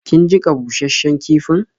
Kin jiƙa bushasshen kifin?